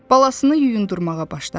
Balasını yuyundurmağa başladı.